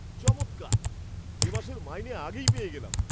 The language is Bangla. চমৎকার! এ মাসের মাইনে আগেই পেয়ে গেলাম।